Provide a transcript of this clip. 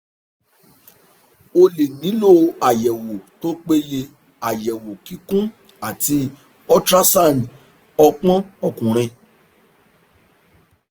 o lè nílò àyẹ̀wò tó péye àyẹ̀wò kíkún àti ultrasound ọpọn ọkùnrin